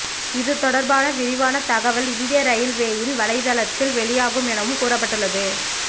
இது தொடர்பான விரிவான தகவல் இந்திய ரயில்வேயின் வலைதளத்தில் வெளியாகும் எனவும் கூறப்பட்டுள்ளது